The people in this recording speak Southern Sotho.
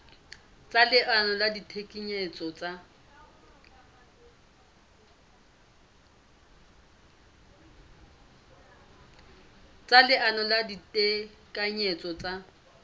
sa leano la ditekanyetso tsa